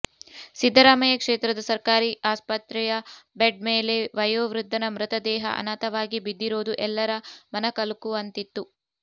ಸಿದ್ದರಾಮಯ್ಯ ಕ್ಷೇತ್ರದ ಸರ್ಕಾರಿ ಆಸ್ಪತ್ರೆಯ ಬೆಡ್ ಮೇಲೆ ವಯೋವೃದ್ಧನ ಮೃತದೇಹ ಅನಾಥವಾಗಿ ಬಿದ್ದಿರೋದು ಎಲ್ಲರ ಮನಕಲಕುವಂತಿತ್ತು